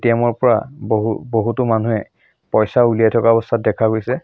পৰা বহু বহুতো মানুহে পইচা উলিয়াই থকা অৱস্থাত দেখা গৈছে।